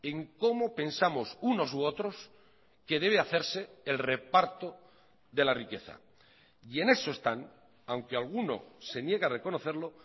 en cómo pensamos unos u otros que debe hacerse el reparto de la riqueza y en eso están aunque alguno se niegue a reconocerlo